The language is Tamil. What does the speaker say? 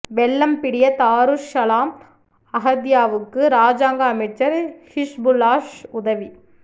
வெல்லம்பிடிய தாருஸ் ஸலாம் அஹதிய்யாவுக்கு இராஜாங்க அமைச்சர் ஹிஸ்புல்லாஹ் உதவி